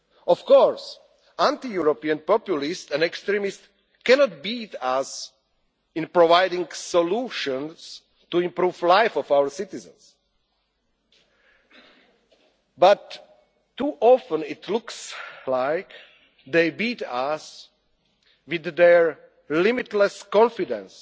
Of course, anti European populists and extremists cannot beat us in providing solutions to improve the lives of our citizens. But too often it looks like they beat us with their limitless confidence